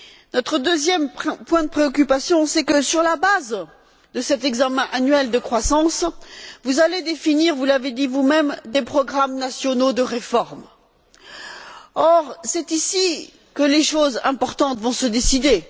Notre deuxième point de préoccupation est que, sur la base de cet examen annuel de croissance, vous allez définir vous l'avez dit vous même des programmes nationaux de réformes. Or, c'est ici que les choses importantes vont se décider.